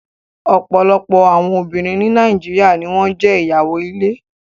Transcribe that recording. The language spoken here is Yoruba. Ọ̀pọ̀lọpọ̀ àwọn obìnrin ní Nàìjíríà ni wọn jẹ́ ìyàwó ilé